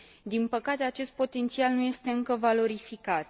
Din păcate, acest potențial nu este încă valorificat.